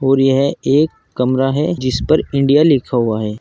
और यह एक कमरा है जिस पर इंडिया लिखा हुआ है।